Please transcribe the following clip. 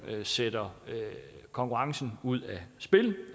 sætter konkurrencen ud af spil